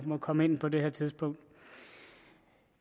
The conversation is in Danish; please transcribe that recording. komme ind på det her tidspunkt